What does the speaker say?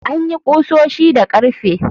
An yi ƙusoshi da ƙarfe.